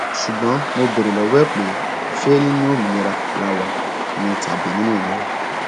ṣùgbọn mo béèrè lọwọ ẹ pé ṣé nínú òmìnira la wà ni tàbí nínú ìnira